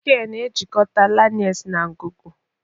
Trachea na-ejikọta larynx na ngụgụ